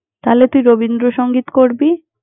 তালে, তুই রবীন্দ্রসংগীত করবি।